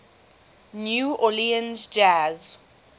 new orleans jazz